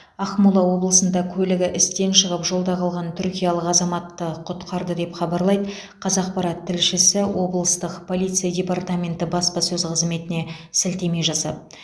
ақмола облысында көлігі істен шығып жолда қалған түркиялық азаматты құтқарды деп хабарлайды қазақпарат тілшісі облыстық полиция департаменті баспасөз қызметіне сілтеме жасап